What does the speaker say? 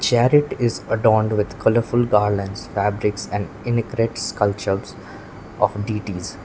chariot is adorned with colourful garlands fabrics and sculptures of deities.